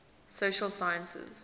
social sciences